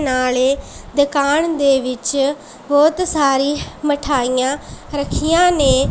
ਨਾਲ਼ੇ ਦੁਕਾਨ ਦੇ ਵਿੱਚ ਬਹੁਤ ਸਾਰੀ ਮਠਾਈਆਂ ਰੱਖੀਆਂ ਨੇਂ।